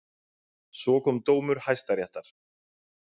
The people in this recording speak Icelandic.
Svo kom dómur Hæstaréttar.